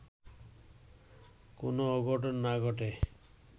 কোন অঘটন না ঘটে”